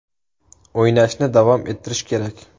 O‘ynashni davom ettirish kerak.